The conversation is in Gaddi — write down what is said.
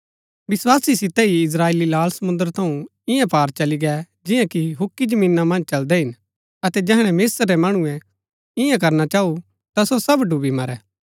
विस्‍वासा सितै ही इस्त्राएली लाल समुंद्र थऊँ इआं पार चली गै जिआं कि हुक्की जमीना मन्ज चलदै हिन अतै जैहणै मिस्र रै मणुऐ इआं करना चऊँ ता सो सब डुब्‍बी मरै